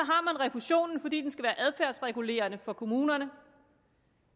refusionen fordi den skal være adfærdsregulerende for kommunerne